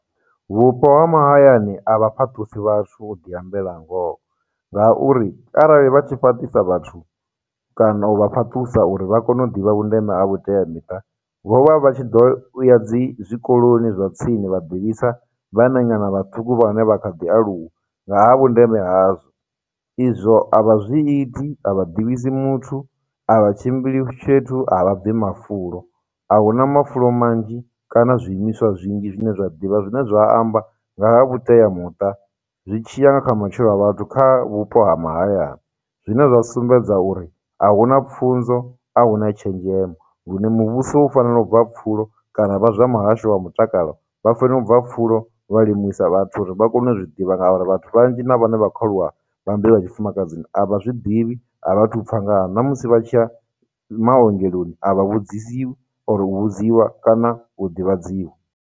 Vhupo ha mahayani a vha fhaṱusi vhathu u ḓi ambela ngoho ngauri, arali vha tshi fhaṱisa vhathu kana u vha fhaṱusa uri vha kone u ḓivha vhundeme ha vhuteamiṱa, vho vha vha tshi ḓo ya dzi, zwikoloni zwa tsini vha ḓivhisa vhananyana vhaṱuku vhane vha kha ḓi aluwa nga ha vhundeme hazwo. Izwo a vha zwi iti, a vha ḓivhisi muthu, a vha tshimbili fhethu, a vha bvi mafulo. Ahuna mafulo manzhi kana zwiimiswa zwinzhi zwine zwa ḓivha zwine zwa amba nga ha vhuteamuṱa zwi tshi ya nga kha matshilo a vhathu kha vhupo ha mahayani, zwine zwa sumbedza uri ahuna pfhunzo, ahuna tshenzhemo, lune muvhuso u fanela u bva pfhulo kana vha zwa muhasho wa mutakalo vha fanela u bva pfhulo vha limisa vhathu uri vha kone u zwi ḓivha ngauri vhathu vhanzhi na vhane vha khou aluwa vha mbeu ya tshifumakadzini a vha zwiḓivhi, a vha thu pfha ngaha, na musi vha tshi ya maongeloni a vha vhudzisi or u vhudziwa kana u ḓivhadziwa.